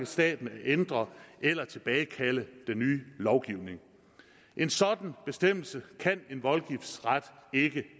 staten at ændre eller tilbagekalde den nye lovgivning en sådan bestemmelse kan en voldgiftsret ikke